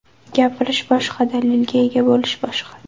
Gapirish boshqa, dalilga ega bo‘lish boshqa”.